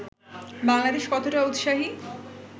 বাংলাদেশ কতটা উৎসাহী